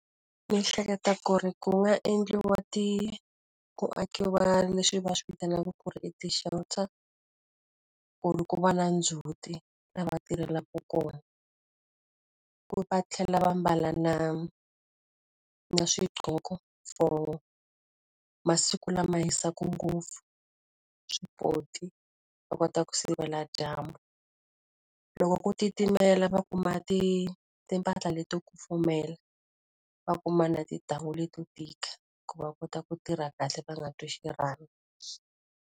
Ni hleketa ku ri ku nga endliwa ti ku akiwa leswi va swi vitanaka ku ri i ti-shelter, ku ri ku va na ndzhuti laha va tirhelaka kona. Va tlhela va mbala na na swiqoko for masiku lama hisaka ngopfu, swipoti va kota ku sivela dyambu. Loko ku titimela va kuma timpahla leto kufumela, va kuma na tintangu leti to tika. Ku va kota ku tirha kahle va nga twi xirhami.